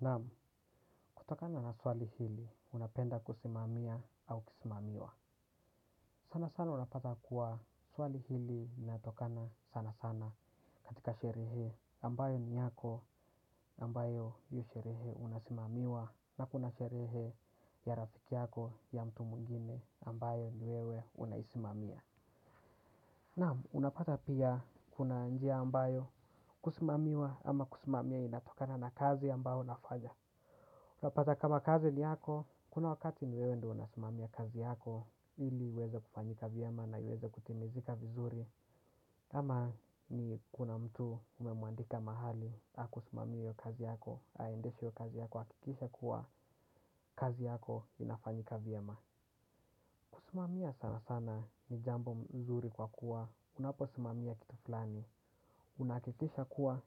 Naam kutokana na swali hili unapenda kusimamia au kusimamiwa. Sana sana unapata kuwa swali hili linatokana sana sana katikati sherehe ambayo ni yako ambayo hio sherehe unasimamiwa na kuna sherehe ya rafiki yako ya mtu mwingine ambayo ni wewe unaisimamia. Naam unapata pia kuna njia ambayo kusimamiwa ama kusimamia inatokana na kazi ambayo unafanya uta pata kama kazi ni yako, kuna wakati ni wewe ndio una simamia kazi yako ili iweze kufanyika vyema na iweze kutimizika vizuri. Ama ni kuna mtu umemwandika mahali hakusumamie hio kazi yako, aendeshe hio kazi yako, ahakikishe kuwa kazi yako inafanyika vyema. Kusumamia sana sana ni jambo mzuri kwa kuwa, unaposimamia kitu fulani unakikisha kuwa,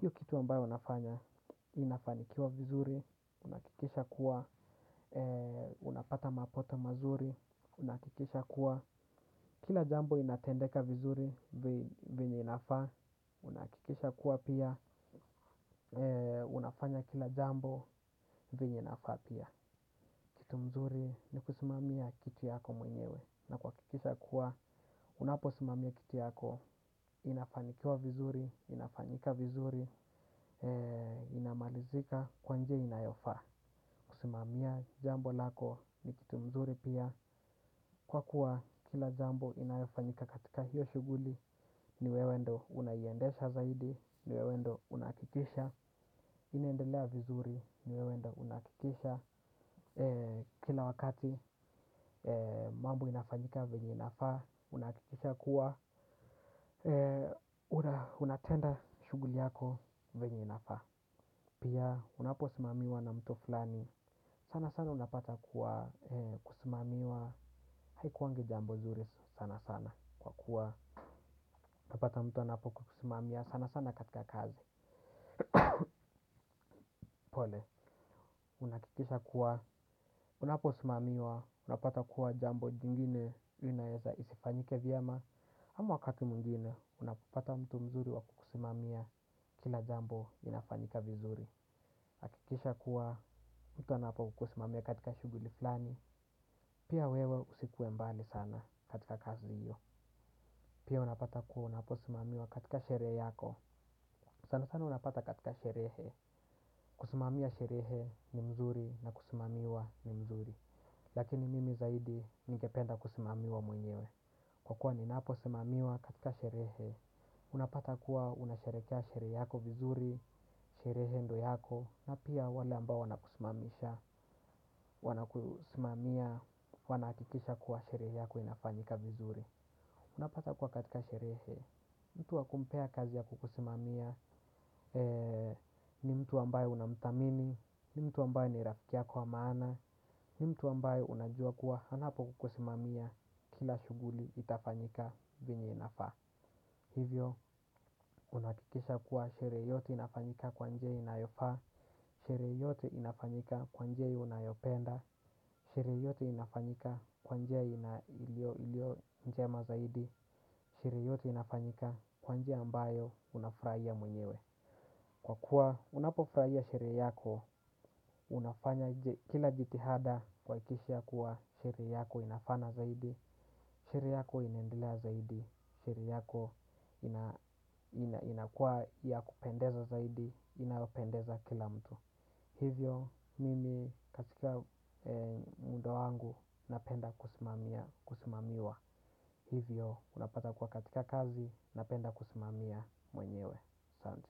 hiyo kitu ambayo unafanya, inafanikiwa vizuri. Unahakikisha kuwa, unapata mapato mazuri. Unahakikisha kuwa, kila jambo inatendeka vizuri venye inafaa. Unakikisha kuwa pia, unafanya kila jambo venye inafaa pia. Kitu mzuri ni kusimamia kitu yako mwenyewe. Na kuhakikisha kuwa, unaposimamia kitu yako inafanikiwa vizuri, inafanyika vizuri inamalizika kwa njia inayofaa kusimamia jambo lako ni kitu mzuri pia kwa kuwa kila jambo inayofanyika katika hiyo shughuli ni wewe ndio unaye iendesha zaidi ni wewe ndio unahakikisha inendelea vizuri, ni wewe ndio unahakikisha kila wakati mambo inafanyika vyenye inafaa unahakikisha kuwa eee, unatenda shughuli yako venye inafaa. Pia, unapo simamiwa na mtu fulani. Sana sana unapata kuwa kusimamiwa haikuwangi jambo zuri sana sana. Kwa kuwa, unapata mtu anapo kusimamia sana sana katika kazi. Pole, unahakikisha kuwa unapo simamiwa unapata kuwa jambo jingine inaweza isifanyike vyema. Ama wakati mwingine, unapopata mtu mzuri wa kukusimamia kila jambo linafanyika vizuri. Hakikisha kuwa mtu anapo kukusimamia katika shughuli flani, pia wewe usikuwe mbali sana katika kazi hiyo. Pia unapata kuwa unaposimamiwa katika sherehe yako. Sana sana unapata katika sherehe. Kusimamia sherehe ni mzuri na kusimamiwa ni mzuri. Lakini mimi zaidi ningependa kusimamiwa mwenyewe. Kwa kuwa ninapo simamiwa katika sherehe, unapata kuwa unasherekea sherehe yako vizuri, sherehe ndio yako, na pia wale ambao wanakusimamisha, wanakusimamia, wanahakikisha kuwa sherehe yako inafanyika vizuri. Unapata kuwa katika sherehe, mtu wakumpea kazi ya kukusimamia ni mtu ambayo unamthamini, ni mtu ambayo ni rafiki yako wa maana, ni mtu ambayo unajua kuwa anapo kukusimamia kila shughuli itafanyika venye inafa. Hivyo, unahakikisha kuwa sherehe yote inafanyika kwa njia inayofaa sherehe yote inafanyika kwa njia inayopenda, sherehe yote inafanyika kwa njia ilio njema zaidi, sherehe yote inafanyika kwa njia ambayo unafurahia mwenyewe. Kwa kuwa unapo furahia sherehe yako, unafanya kila jitihada kuhakikisha ya kuwa sherehe yako inafana zaidi, sherehe yako inaendelea zaidi, sherehe yako inakua ya kupendeza zaidi, inapendeza kila mtu. Hivyo mimi katika muundo wangu napenda kusimamia kusimamiwa. Hivyo unapata kwa katika kazi napenda kusimamia mwenyewe. Asante.